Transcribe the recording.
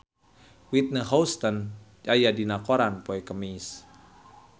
Whitney Houston aya dina koran poe Kemis